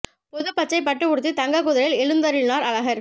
பொது பச்சை பட்டு உடுத்தி தங்க குதிரையில் எழுந்தருளினார் அழகர்